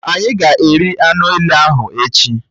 Ányi ga-eri anụ èlé ahụ echi